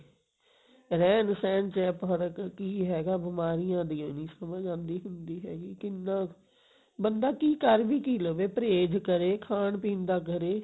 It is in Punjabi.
ਰਹਿਣ ਸਹਿਣ ਚ ਹੈ ਫਰਕ਼ ਕਿ ਹੈਗਾ ਬਿਮਾਰੀਆਂ ਦੀ ਓ ਨਹੀਂ ਸਮਝ ਆਉਂਦੀ ਹੁੰਦੀ ਹੈਗੀ ਕਿੰਨਾ ਬੰਦਾ ਕਿ ਕਰ ਵੀ ਕਿ ਲਵੇ ਪਰਹੇਜ ਕਰੇ ਖਾਣ ਪੀਣ ਦਾ ਕਰੇ